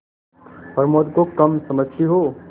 प्रमोद को कम समझती हो